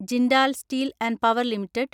Jindal steel and power limited